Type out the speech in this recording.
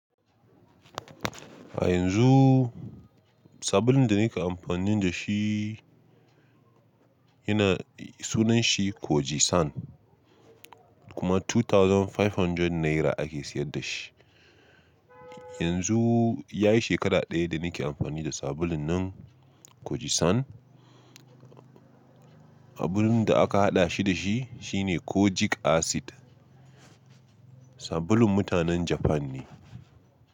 A yanzu sabulun da nake amfani da shi yana sunan shi Kojie-san kuma two thousand five hundred naira ake siyar da shi. Yanzu ya yi shekara ɗaya da nake amfani da sabulun nan Kojie-san. Sabulun da aka haɗa shi da shi shine Kojic acid. Sabulun mutanen Japan ne.